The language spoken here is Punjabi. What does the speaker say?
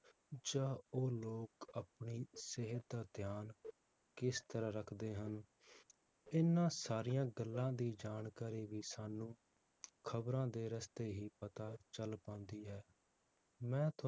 ਜਾਂ ਉਹ ਲੋਕ ਆਪਣੀ ਸਿਹਤ ਦਾ ਧਿਆਨ ਕਿਸ ਤਰਾਹ ਰੱਖਦੇ ਹਨ, ਇਹਨਾਂ ਸਾਰੀਆਂ ਗੱਲਾਂ ਦੀ ਜਾਣਕਾਰੀ ਵੀ ਸਾਨੂੰ ਖਬਰਾਂ ਦੇ ਰਸਤੇ ਹੀ ਪਤਾ ਚਲ ਪਾਂਦੀ ਹੈ ਮੈਂ